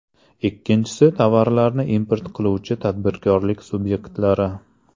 Ikkinchisi tovarlarni import qiluvchi tadbirkorlik subyektlari.